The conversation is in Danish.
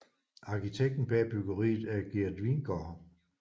Arkitekten bag byggeriet er Gert Wingårdh